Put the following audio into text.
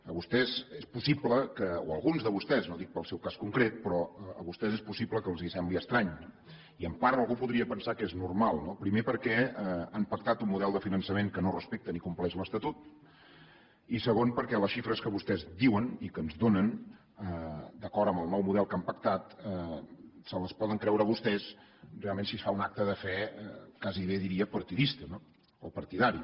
a vostès és possible o a alguns de vostès no ho dic pel seu cas concret però a vostès és possible que els sembli estrany i en part algú podria pensar que és normal no primer perquè han pactat un model de finançament que no respecta ni compleix l’estatut i segon perquè les xifres que vostès diuen i que ens donen d’acord amb el nou model que han pactat se les poden creure vostès realment si es fa un acte de fe gairebé diria partidista o partidari